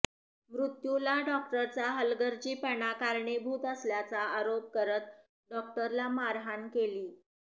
मृत्युला डॉक्टरचा हलगर्जीपणा कारणीभूत असल्याचा आरोप करत डॉक्टरला मारहाण केली